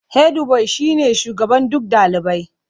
Hedbuwai shine shugaban duk dalibai.